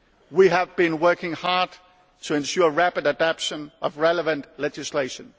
We have been working hard to ensure rapid adaption of relevant legislation.